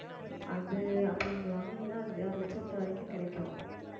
அது அப்படி நீங்க வாங்குனீங்கன்னா அஞ்சு ஆறு லட்சத்து வரைக்கும் கிடைக்கும்